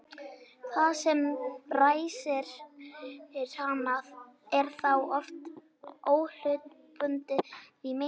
það sem ræsir hana er þá oft óhlutbundið í meira lagi